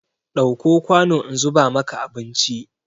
Ɗauko kwanu in zuba maka abinci!